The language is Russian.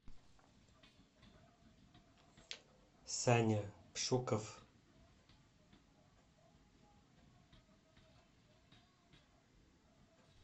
саня пшуков